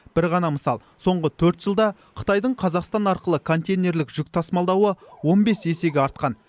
бір ғана мысал соңғы төрт жылда қытайдың қазақстан арқылы контейнерлік жүк тасымалдауы он бес есеге артқан